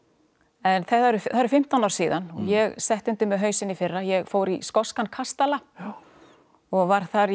en það eru fimmtán ár síðan og ég setti undir mig hausinn í fyrra ég fór í skoskan kastala og var þar í